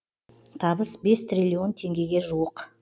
табыс бес триллион теңгеге жуық